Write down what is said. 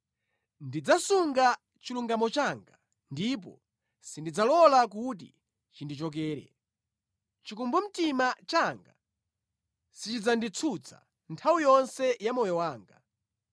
Ndidzasunga chilungamo changa ndipo sindidzalola kuti chindichokere; chikumbumtima changa sichidzanditsutsa nthawi yonse ya moyo wanga.